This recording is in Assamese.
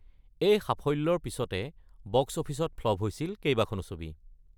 এই সাফল্যৰ পিছতে বক্স অফিচত ফ্লপ হৈছিল কেইবাখনো ছবি।